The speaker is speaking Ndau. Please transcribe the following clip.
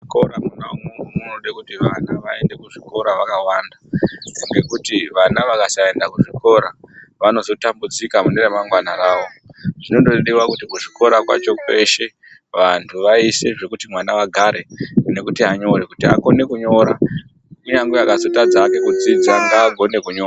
Kora mwona umwomwo munode kuti vana vaende kuzvikora vakawanda ngekuti vana vakasaenda kuzvikora vanozotambudzika mune ramangwana rawo zvinodiwa kuti kuchikora kweshe vantu vaise zvokuti vana vagare nekuti anyore kuti akone kunyora kunyange akazotadza hake kudzidza ngaagone kunyora .